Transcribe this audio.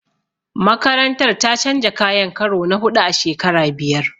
Makarantar ta canja kayan karo na huɗu a shekara biyar.